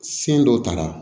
Sen dɔ tara